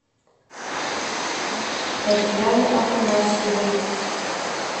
татьяны афанасьевой